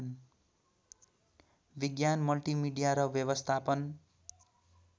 विज्ञान मल्टिमिडिया र व्यवस्थापन